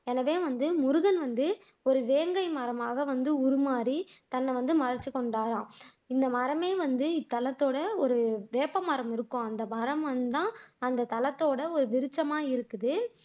எனவே வந்து நுருகன் வந்து ஒரு வேங்கை மரமாக வந்து உருமாறி தன்னைவந்து மறைத்துக்கொண்டாராம் இந்த மரமே வந்து இத்தலத்தோட வேப்பமரம் இருக்கும் அந்த தலத்தோட விருட்ச்மா இருக்குது